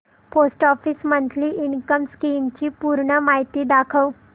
post office monthly income scheme ची पूर्ण माहिती दाखव